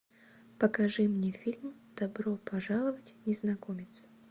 покажи мне фильм добро пожаловать незнакомец